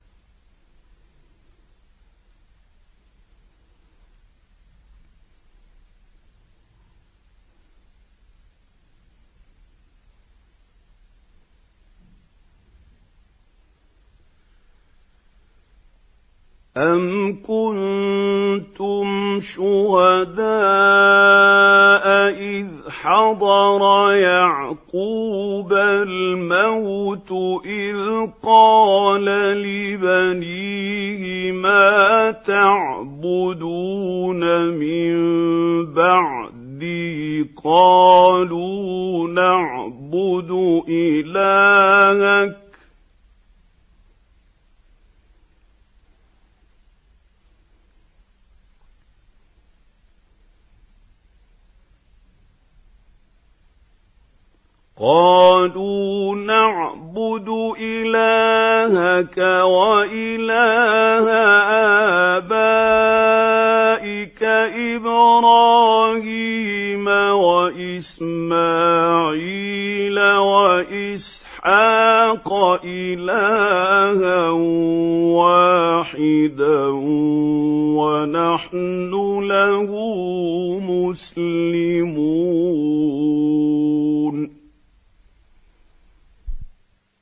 أَمْ كُنتُمْ شُهَدَاءَ إِذْ حَضَرَ يَعْقُوبَ الْمَوْتُ إِذْ قَالَ لِبَنِيهِ مَا تَعْبُدُونَ مِن بَعْدِي قَالُوا نَعْبُدُ إِلَٰهَكَ وَإِلَٰهَ آبَائِكَ إِبْرَاهِيمَ وَإِسْمَاعِيلَ وَإِسْحَاقَ إِلَٰهًا وَاحِدًا وَنَحْنُ لَهُ مُسْلِمُونَ